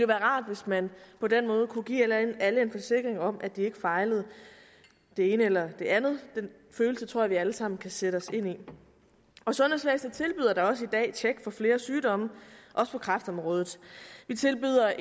være rart hvis man på den måde kunne give alle en forsikring om at de ikke fejlede det ene eller det andet den følelse tror jeg at vi alle sammen kan sætte os ind i sundhedsvæsenet tilbyder da også i dag et tjek for flere sygdomme også på kræftområdet vi tilbyder